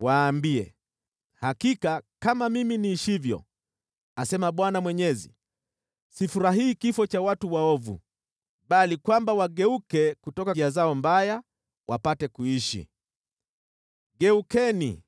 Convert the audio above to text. Waambie, ‘Hakika kama mimi niishivyo, asema Bwana Mwenyezi, sifurahii kifo cha watu waovu, bali kwamba wageuke kutoka njia zao mbaya wapate kuishi. Geukeni!